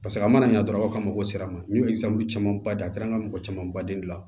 Paseke a mana ɲɛ dɔrɔn aw ka mago sera a ma n'o ye camanba de ye a kɛra an ka mɔgɔ caman baden bila